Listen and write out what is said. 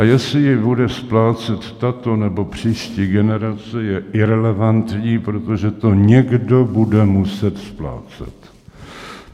A jestli ji bude splácet tato nebo příští generace, je irelevantní, protože to někdo bude muset splácet.